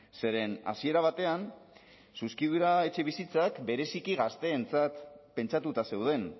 zeren hasiera batean zuzkidura etxebizitzak bereziki gazteentzat pentsatuta zeuden